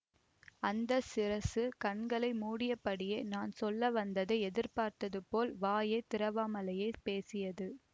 அந்த சிரசு கண்களை மூடியபடியே நான் சொல்ல வந்ததை எதிர்பார்த்தது போல வாயை திறவாமலேயே பேசியது